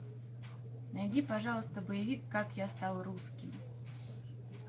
найди пожалуйста боевик как я стал русским